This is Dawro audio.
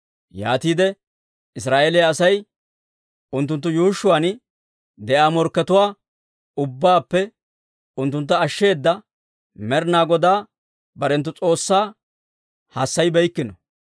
Yaatiide Israa'eeliyaa Asay unttunttu yuushshuwaan de'iyaa morkkatuwaa ubbaappe unttuntta ashsheeda Med'inaa Godaa barenttu S'oossaa hassayibeykkino.